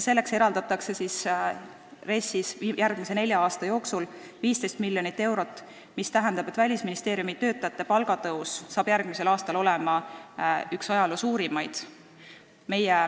Selleks eraldatakse RES-is järgmise nelja aasta jooksul 15 miljonit eurot, mis tähendab, et Välisministeeriumi töötajate palgatõus järgmisel aastal on üks ajaloo suurimaid.